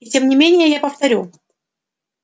и тем не менее я повторю